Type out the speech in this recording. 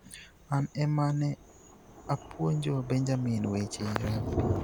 "An ema ne apuonjo Benjamin weche rugby.